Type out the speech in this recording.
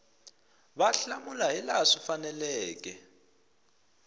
va hlamula hilaha swi faneleke